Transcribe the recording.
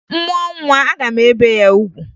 M mụọ nwa, aga m ebe ya ugwu